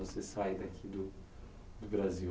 Você saiu daqui do do Brasil.